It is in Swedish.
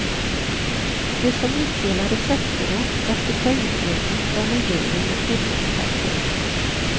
Det som utdelades efteråt, efter poängbedömning från en jury med filmexperter.